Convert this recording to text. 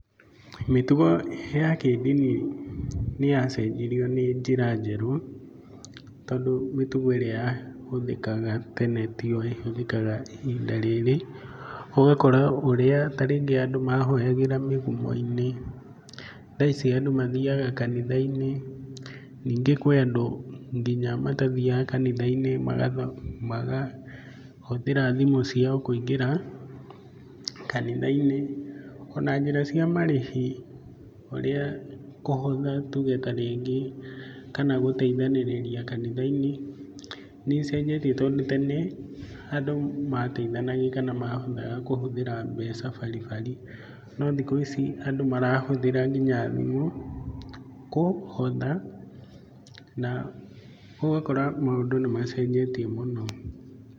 Mĩtugo ya kĩndini nĩyacenjirio nĩ njĩra njerũ, tondũ mĩtugo ĩrĩa yahũthĩkaga tene tĩo ĩhũthĩkaga ihinda rĩrĩ, ũgakora ta ũrĩa rĩngĩ andũ mahoyagĩra mĩgũmo-inĩ, thaa ici andũ mathiaga kanitha-inĩ. Nĩngĩ kwĩ andũ nginya matathiaga kanitha-inĩ magahũthĩra thimũ ciao kũingĩra kanitha-inĩ. Ona njĩra cia marĩhi ũrĩa kũhotha, tuge ta rĩngĩ kana gũteithanĩrĩria kanitha-inĩ, nĩcenjetie tondũ tene, andũ mateithanagia kana kũhũthira mbeca bari bari no thikũ ici andũ marahũthĩra ngĩnya thimũ kũhotha, na ũgakora maũndũ nĩmacenjetie mũno.